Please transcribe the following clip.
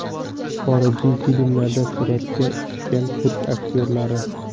Xorijiy filmlarda suratga tushgan turk aktyorlari .